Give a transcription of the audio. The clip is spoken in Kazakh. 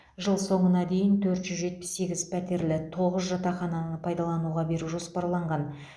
жыл соңына дейін төрт жүз жетпіс сегіз пәтерлі тоғыз жатақхананы пайдалануға беру жоспарланған